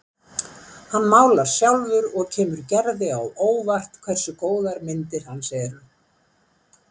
Hann málar sjálfur og kemur Gerði á óvart hversu góðar myndir hans eru.